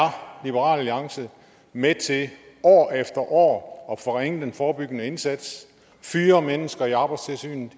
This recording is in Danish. liberal alliance med til år efter år at forringe den forebyggende indsats og fyre mennesker i arbejdstilsynet